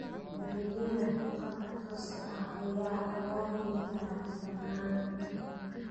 Adeegyada khadka tooska ah ayaa loo heli karaa dhammaan.